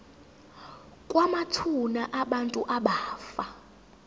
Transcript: kwamathuna abantu abafa